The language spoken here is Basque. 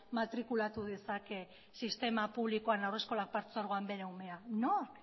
matrikulatu dezake sistema publikoan haurreskolak partzuergoan bere umea nork